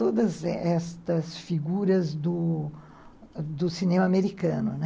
Todas essas figuras do cinema americano, né?